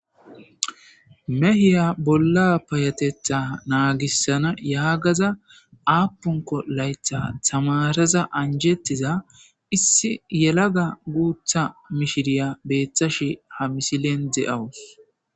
Mehiya bolla payatetha naagissana yaagaza aapunko laytha tamaraza anjettiza issi yelaga guutha mishiriya beeththashi ha misilen de'awus.